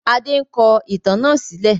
Adé ń kọ ìtàn náà sílẹ̀